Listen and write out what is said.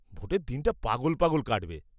-ভোটের দিনটা পাগল পাগল কাটবে।